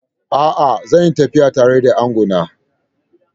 A'a, zan yi tafiya tare da angona.